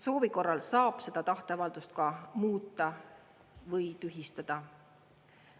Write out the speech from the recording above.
Soovi korral saab seda tahteavaldust ka muuta või tühistada.